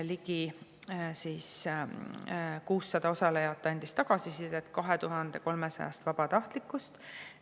Ligi 600 osalejat 2300 vabatahtlikust andis tagasisidet.